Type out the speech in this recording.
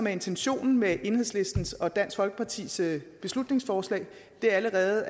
intentionen med enhedslisten og dansk folkepartis beslutningsforslag allerede